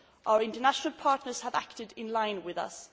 Our international partners have acted in line with